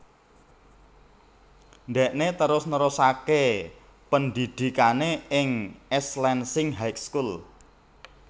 Ndhekné terus nerusaké pendhidhikané ing East Lansing High School